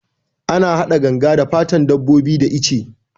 Ana hada ganga da fatan dabbobi da ice